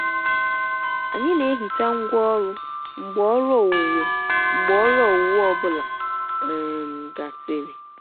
anyị na-ehicha ngwaọrụ mgbe ọrụ owuwe mgbe ọrụ owuwe ọ bụla um gasịrị.